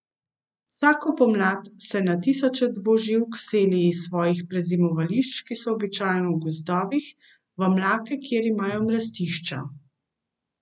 Vsako pomlad se na tisoče dvoživk seli iz svojih prezimovališč, ki so običajno v gozdovih, v mlake, kjer imajo mrestišča.